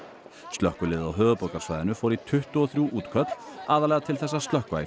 slökkviliðið á höfuðborgarsvæðinu fór í tuttugu og þrjú útköll aðallega til þess að slökkva í